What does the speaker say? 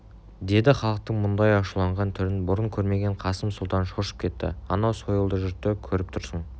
деді халықтың мұндай ашуланған түрін бұрын көрмеген қасым сұлтан шошып кетті анау сойылды жұртты көріп тұрсың